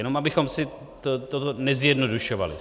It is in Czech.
Jenom abychom si to nezjednodušovali.